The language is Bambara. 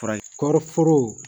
Fara kɔriforo